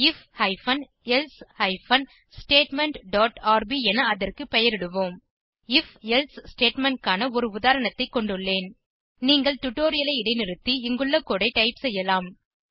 if hyphen else hyphen statement dot RB என அதற்கு பெயரிடுவோம் if எல்சே ஸ்டேட்மெண்ட் க்கான ஒரு உதாரணத்தை கொண்டுள்ளேன் நீங்கள் டுடோரியலை இடைநிறுத்தி இங்குள்ள கோடு ஐ டைப் செய்யலாம்